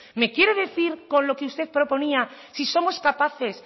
me quiere decir con lo que usted proponía si somos capaces